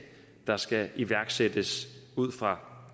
der skal iværksættes ud fra